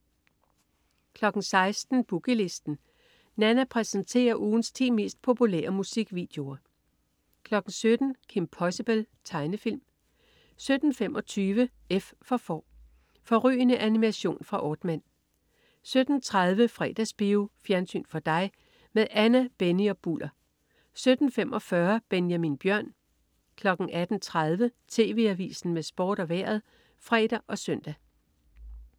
16.00 Boogie Listen. Nanna præsenterer ugens ti mest populære musikvideoer 17.00 Kim Possible. Tegnefilm 17.25 F for Får. Fårrygende animation fra Aardman 17.30 Fredagsbio. Fjernsyn for dig med Anna, Benny og Bulder 17.45 Benjamin Bjørn 18.30 TV Avisen med Sport og Vejret (fre og søn)